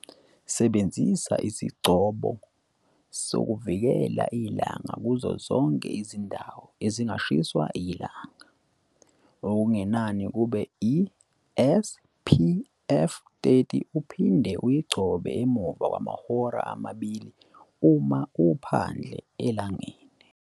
Sebenzisa isigcobo sokuvikela ilanga kuzo zonke izindawo ezingashiswa ilanga, okungenani kube iSPF 30 uphinde uyigcobe njalo emuva kwamahora amabili uma uphandle elangeni.